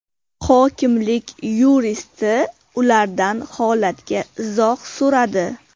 Hokimlik yuristi ulardan holatga izoh so‘radi.